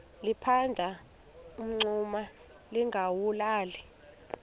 liphanda umngxuma lingawulali